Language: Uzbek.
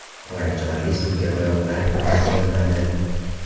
Qora choyli suvga oyoqlar biroz solinadi.